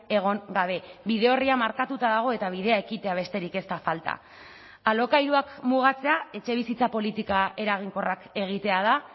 egon gabe bide orria markatuta dago eta bidea ekitea besterik ez da falta alokairuak mugatzea etxebizitza politika eraginkorrak egitea da